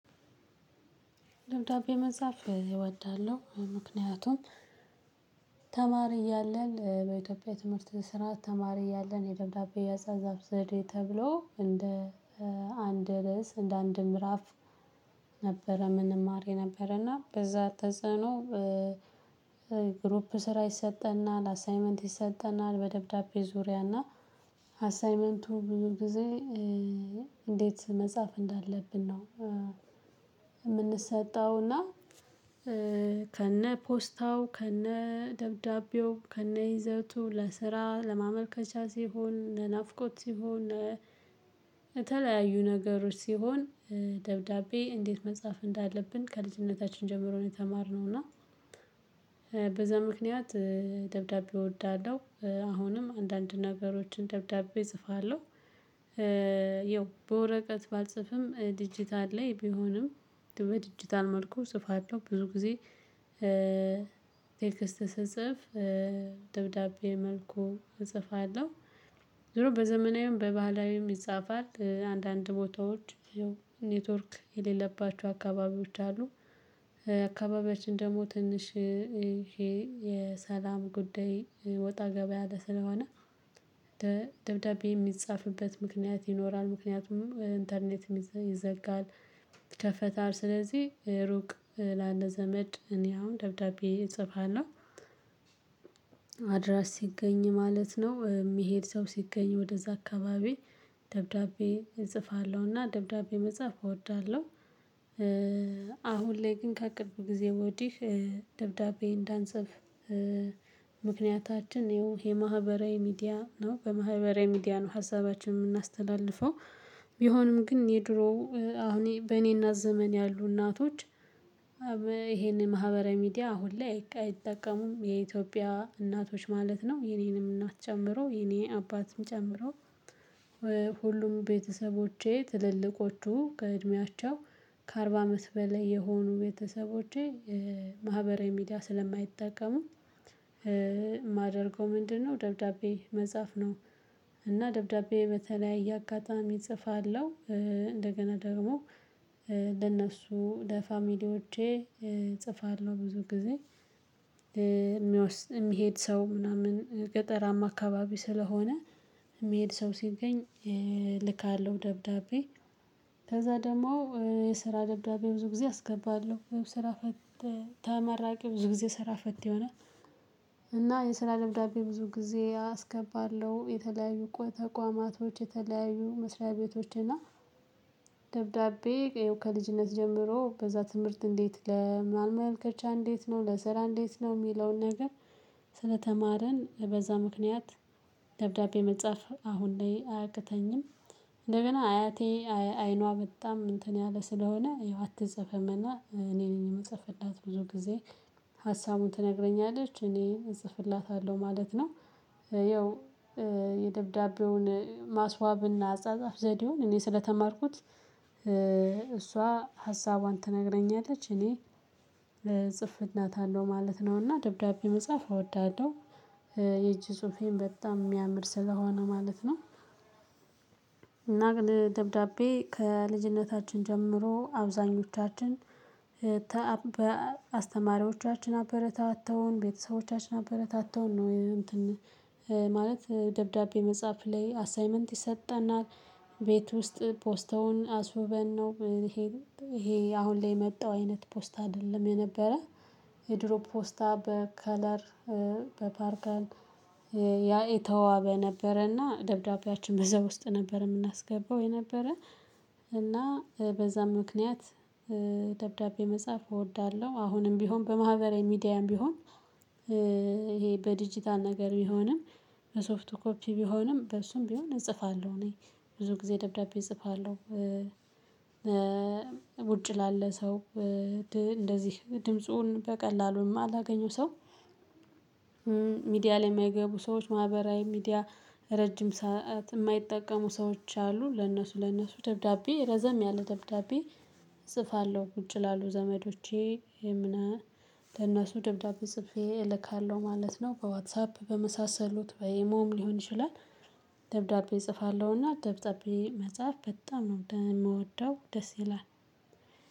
ደብዳቤ መጻፍ እወዳለሁ። ምክንያቱም ተማሪ እያለን በኢትዮጵያ ትምህርት ስርዓት ተማሪ እያለን የደብዳቤ አጻጻዛፍ ዘዴ ተብሎ እንደ አንድ ርዕስ እንደ አንድ ምዕራፍ ነበረ ምንማር የነበረና በዛ ተጽዕኖ። ግሩፕ ስራ ይሰጠናል አሳይመንት ይሰጠናል በደብዳቤ ዙሪያ እና ኣሳይመንቱ ብዙ ጊዜ እንዴት መጻፍ እንዳለብን ነው እምንሰጠውና። ከነ ፖስታው ከነ ደብዳቤው ከነ ይዘቱ ለስራ ለማመልከቻ ሲሆን ለናፍቆት ሲሆን። የተለያዩ ነገሮች ሲሆን ደብዳቤ እንዴት መጻፍ እንዳለብን ከልጅነታችን ጀምሮ ነው የተማርነው። እና በዛ ምክንያት ደብዳቤ እወዳለሁ አሁንም አንዳንድ ነገሮችን ደብዳቤ እጽፋለሁ። የው በወረቀት ባልጽፍም ዲጂታል ላይ ቢሆንም በዲጂታል መልኩ እጵፋለው ብዙ ጊዜ። ቴክስት ስትጽፍ ደብዳቤ መልኩ እጽፋለው። ዙሮ በዘመናዊም በባህላዊም ይጻፋል አንዳንድ ቦታዎች ኔትወርክ የሌለባቸው አካባቢዎች አሉ። አካባቢያችን ደግሞ ትንሽ ይሄ የሰላም ጉዳይ ወጣ ገበያ አለ ስለሆነ። ደብዳቤ የሚጻፍበት ምክንያት ይኖራል ምክንያቱም ኢንተርኔትም ይዘጋል። ይከፈታል ስለዚህ ሩቅ ላለ ዘመድ እኔ አሁን ደብዳቤ እጽፋለሁ። አድራሽ ሲገኝ ማለት ነው የሚሄድ ሰው ሲገኝ ወደዛ አካባቢ ደብዳቤ እጽፋለሁና ደብዳቤ መጽሐፍ እወዳለሁ። አሁን ላይ ግን ከቅርብ ጊዜ ወዲህ ደብዳቤ እንዳንጽፍ። ምክንያታችን ይኸው የማህበራዊ ሚዲያ ነው በማህበራዊ ሚዲያ ነው ሀሳባችን የምናስተላልፈው። ቢሆንም ግን የድሮ አሁን በእኔና ዘመን ያሉ እናቶች ይሄን ማህበረ ሚዲያ አሁን ላይ አይጠቀሙም የኢትዮጵያ እናቶች ማለት ነው የኔንም እናት ጨምሮ የኔ አባትም ጨምሮ። ሁሉም ቤተሰቦቼ ትልልቆቹ ከእድሜያቸው ከአርባ አመት በላይ የሆኑ ቤተሰቦቼ ማህበራዊ ሚዲያ ስለማይጠቀሙ። የማደርገው ምንድነው ደብዳቤ መጻፍ ነው። እና ደብዳቤ በተለያየ አጋጣሚ እጽፋለሁ። እንደገና ደግሞ ለነሱ ለፋሚሊዎቼ እጽፋለሁ ብዙ ጊዜ። የሚሄድ ሰው ምናምን ገጠራማ አካባቢ ስለሆነ የሚሄድ ሰው ሲገኝ እልካለሁ ደብዳቤ። ከዛ ደግሞ የስራ ደብዳቤ ብዙ ጊዜ አስገባለሁ ስራ። ተመራቂው ብዙ ጊዜ ስራ ፈት ይሆናል። እና የስራ ደብዳቤ ብዙ ጊዜ አስገባለሁ የተለያዩ ተቋማቶች የተለያዩ መስሪያ ቤቶች እና። ደብዳቤ ያው ከልጅነት ጀምሮ በዛ ትምህርት እንዴት ለመመልከቻ እንዴት ነው ለስራ እንዴት ነው የሚለውን ነገር ስለተማርን በዛ ምክንያት ደብዳቤ መጻፍ አሁን ላይ አያቅተኝም። እንደገና አያቴ አይኗ በጣም እንትን ያለ ስለሆነ አትጵፍም እና እኔ ነኝ የምጽፍላት ብዙ ጊዜ ሀሳቡን ትነግረኛለች እኔ እጽፍላታለሁ ማለት ነው። ያው የደብዳቤውን ማስዋብና አጻጻፍ ዘዴውን እኔ ስለተማርኩት እሷ ሀሳቧን ትነግረኛለች እኔ ጽፍላት አለው ማለት ነውና ደብዳቤ መጻፍ እወዳለሁ። የእጅ ጽሁፌን በጣም የሚያምር ስለሆነ ማለት ነው። እና ግን ደብዳቤ ከልጅነታችን ጀምሮ አብዛኞቻችን። በአስተማሪዎቻችን አበረታ አተውን ቤተሰቦቻችን አበረታ አተውን ነው እንትን ማለት ደብዳቤ መጻፍ ላይ አሳይመንት ይሰጠናል። ቤት ውስጥ ፖስተውን አስውበን ነው። ይሄ ይሄ አሁን ላይ የመጣው አይነት ፖስታ አይደለም የነበረ የድሮ ፖስታ በከለር በፓርከር ያ የተዋብ ነበረና ደብዳቤያችን በዛ ውስጥ ነበር የምናስገባው የነበረ። እና በዛም ምክንያት ደብዳቤ መጻፍ እወዳለሁ። አሁንም ቢሆን በማህበራዊ ሚዲያም ቢሆን ይሄ በዲጂታል ነገር ቢሆንም በሶፍቶብ ኮፒ ቢሆንም በሱም ቢሆን እጽፋለሁ እኔ ብዙ ጊዜ ደብዳቤ እጽፋለሁ ውጪ ላለ ሰው እንደዚህ ድምፁን በቀላሉ የማላገኘው ሰው። ሚዲያ ላይ የማይገቡ ሰዎች ማህበራዊ ሚዲያ ረጅም ሰዓት የማይጠቀሙ ሰዎች አሉ። ለነሱ ለነሱ ደብዳቤ ረዘም ያለ ደብዳቤ እጽፋለሁ። ውጭ ላሉ ዘመዶቼ እምነህ ለእነሱ ደብዳቤ ጽፌ እልካለሁ ማለት ነው። በዋትሳፕ በመሳሰሉት በኢሞም ሊሆን ይችላል። ደብዳቤ እጽፋለሁና ደብዳቤ መጽሐፍ በጣም ነው የምወደው ደስ ይላል።